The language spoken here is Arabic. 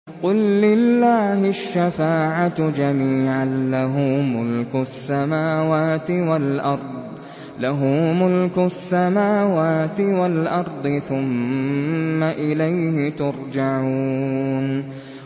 قُل لِّلَّهِ الشَّفَاعَةُ جَمِيعًا ۖ لَّهُ مُلْكُ السَّمَاوَاتِ وَالْأَرْضِ ۖ ثُمَّ إِلَيْهِ تُرْجَعُونَ